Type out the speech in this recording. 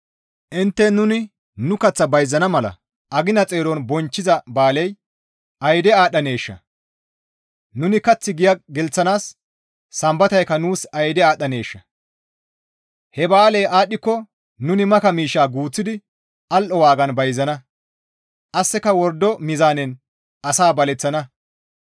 Intte, «Nuni nu kaththa bayzana mala agina xeeron bonchchiza ba7aaley ayde aadhdhaneeshaa! Nuni kath giya gelththanaas sambataykka nuus ayde aadhdhaneeshaa! He ba7aaley aadhdhiko nuni maka miishsha guuththidi al7o waagan bayzana; qasseka wordo meezaanen asaa baleththana.